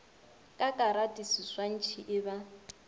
ka karate seswantšhi e ba